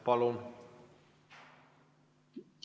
Palun!